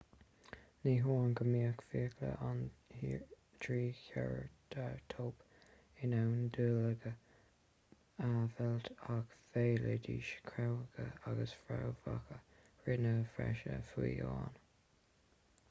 ní hamháin go mbíodh fiacla an trícheireatóip in ann duilleoga a mheilt ach mheilidís craobhacha agus fréamhacha righne freisin fiú amháin